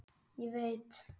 Ég veit.